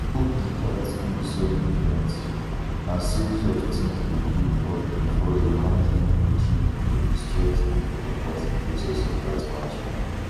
coup detats no be sudden event na series of things dey build up before a kontri military go disrupt di democratic process of dat kontri